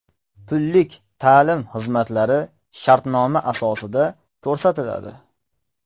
Pullik ta’lim xizmatlari shartnoma asosida ko‘rsatiladi.